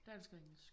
Dansk engelsk